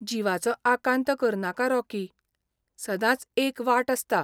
जिवाचो आकांत करनाका, रॉकी. सदांच एक वाट आसता.